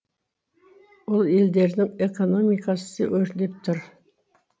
бұл елдердің экономикасы өрлеп тұр